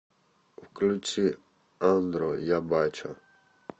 включи андро я бачу